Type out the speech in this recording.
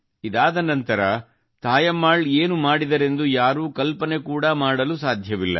ಇದಾದ ನಂತರ ತಾಯಮ್ಮಾಳ್ ಏನು ಮಾಡಿದರೆಂದು ಯಾರೂ ಕಲ್ಪನೆ ಕೂಡಾ ಮಾಡಲು ಸಾಧ್ಯವಿಲ್ಲ